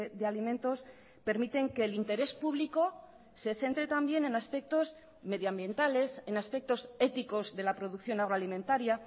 de alimentos permiten que el interés público se centre también en aspectos medio ambientales en aspectos éticos de la producción agro alimentaria